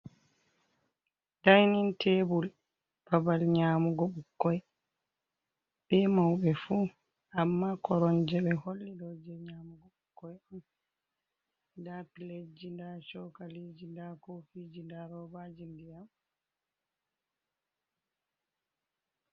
Dainin tebul babal nyamugo ɓikkoi be mauɓe fu, amma koronje ɓe holli ɗo jee nyamugo ɓikkoi on, nda piletji, nda chokaliji, nda kofiji, nda robaji dinyam.